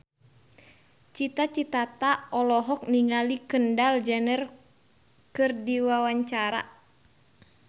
Cita Citata olohok ningali Kendall Jenner keur diwawancara